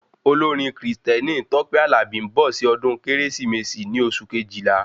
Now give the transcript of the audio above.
Olórin Kristẹni Tope Alabi nbọ sí ọdún kérésìmesì ní oṣù Kejìlá